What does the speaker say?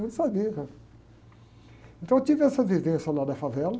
Eles sabiam quem eu era. Então eu tive essa vivência lá da favela.